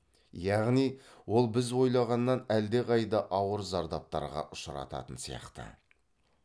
яғни ол біз ойлағаннан әлдеқайда ауыр зардаптарға ұшырататын сияқты